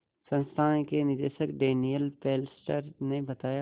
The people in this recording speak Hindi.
संस्थान के निदेशक डैनियल फेस्लर ने बताया